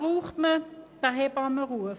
Wofür braucht man diesen Hebammenruf?